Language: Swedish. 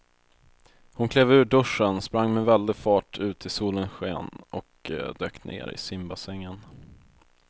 Hon klev ur duschen, sprang med väldig fart ut i solens sken och dök ner i simbassängen.